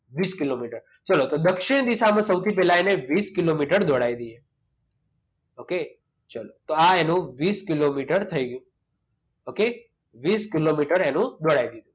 વીસ કિલોમીટર ચાલો તો દક્ષિણ દિશામાં સૌથી પહેલા અને વીસ કિલોમીટર દડાવી દઈએ okay ચાલો તો આ એનું વીસ કિલોમીટર થઈ ગયું okay વીસ કિલોમીટર